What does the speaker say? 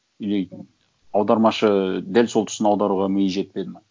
или аудармашы ы дәл сол тұсын аударуға миы жетпеді ме